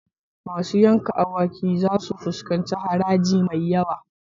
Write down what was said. Masu yanka awaki zasu fuskanci haraji mai yawa.